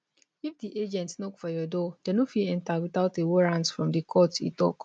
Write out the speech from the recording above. if di agent knock for your door dem no fit enta without a warrant from di court e tok